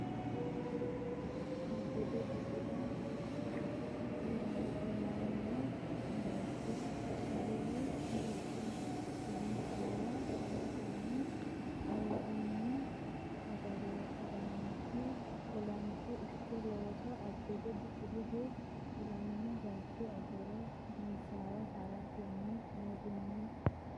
Abbebe Biqilihu ilamino bayicho agure disaawa haratenni ayirrinyu agaraanchi olanto ikke looso Abbebe Biqilihu ilamino bayicho agure disaawa haratenni ayirrinyu.